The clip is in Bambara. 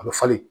A bɛ falen